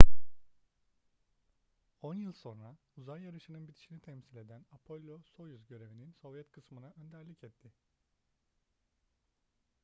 on yıl sonra uzay yarışı'nın bitişini temsil eden apollo-soyuz görevinin sovyet kısmına önderlik etti